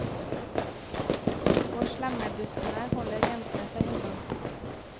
Og slemmebussene holder jentene seg unna.